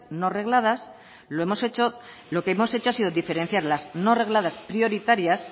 no regladas lo hemos hecho lo que hemos hecho ha sido diferenciar las no regladas prioritarias